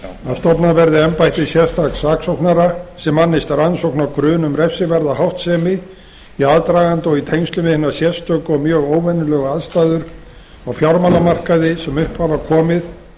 að stofnað verði embætti sérstaks saksóknara sem annist rannsókn á grun um refsiverða háttsemi í aðdraganda og í tengslum við hinar sérstöku og mjög óvenjulegu aðstæður á fjármálamarkaði sem upp hafa komið